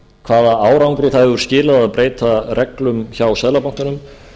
hvaða árangri það hefur skilað að breyta reglum hjá seðlabankanum